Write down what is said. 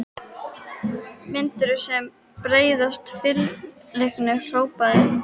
Myndið sem breiðasta fylkingu, hrópaði biskup.